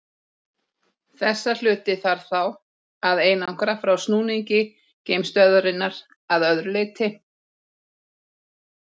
Þessa hluti þarf þá að einangra frá snúningi geimstöðvarinnar að öðru leyti.